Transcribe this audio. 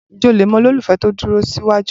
Ǹjẹ́ o le mọ olólùfẹ́ tó dúró síwájú?